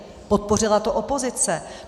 Podpořila to opozice.